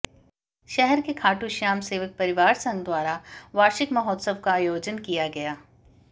शहर के खाटूश्याम सेवक परिवार संघ द्वारा वार्षिक महोत्सव का आयोजन कि या गया